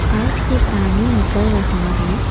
Pipe से पानी निकल रहा है।